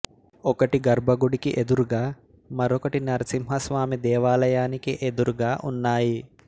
ఒకటి గర్భగుడికి ఎదురుగా మరొకటి నరసింహ స్వామి దేవాలయానికి ఎదురుగా ఉన్నాయి